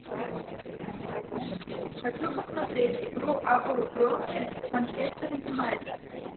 хочу посмотреть игру апл бернли манчестер юнайтед